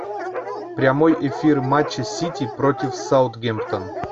прямой эфир матча сити против саутгемптон